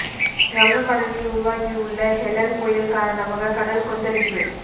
வங்க கடலில் உருவாகி உள்ள ஹெலன் புயல் காரணமாக கடல் கொந்தளிப்பு